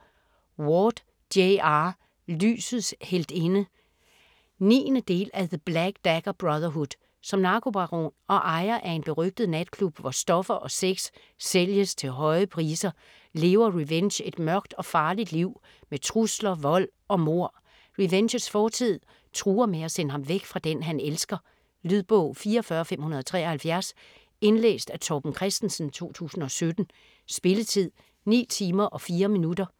Ward, J. R.: Lysets heltinde 9. del af The black dagger brotherhood. Som narkobaron og ejer af en berygtet natklub hvor stoffer og sex sælges til høje priser, lever Rehvenge et mørkt og farligt liv med trusler, vold og mord. Rehvenges fortid truer med at sende ham væk fra den han elsker. Lydbog 44573 Indlæst af Torben Christensen, 2017. Spilletid: 9 timer, 4 minutter.